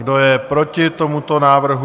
Kdo je proti tomuto návrhu?